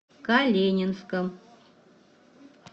калининском